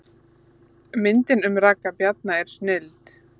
Myndin um Ragga Bjarna er snilld